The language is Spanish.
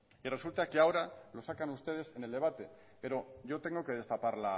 y resulta ahora que lo sacan ustedes en el debate pero yo tengo que destapar